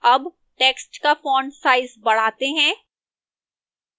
अब text का font size बढ़ाते हैं